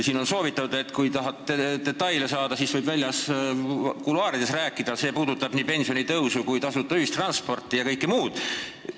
Siin on soovitatud, et kui tahad detaile teada saada, siis võid väljas kuluaarides rääkida, see puudutab pensionitõusu, tasuta ühistransporti ja kõike muud.